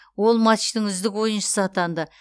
ол матчтың үздік ойыншысы атанды